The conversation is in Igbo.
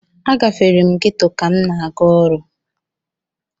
Agafere m geto ka m na-aga ọrụ.